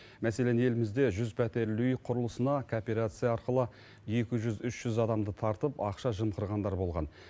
мәселен елімізде жүз пәтерлі үй құрылысына кооперация арқылы екі жүз үш жүз адамды тартып ақша жымқырғандар болған